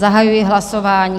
Zahajuji hlasování.